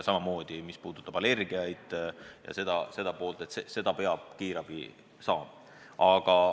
Samamoodi info allergiate kohta – neid andmeid peab kiirabi saama.